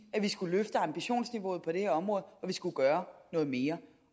at man skulle løfte ambitionsniveauet på det her område og at skulle gøre noget mere